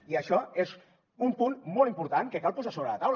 i això és un punt molt important que cal posar sobre la taula